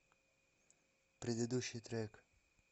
предыдущий трек